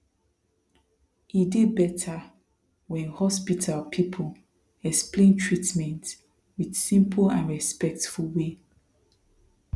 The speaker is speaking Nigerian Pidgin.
e dey better when hospital people explain treatment with simple and respectful way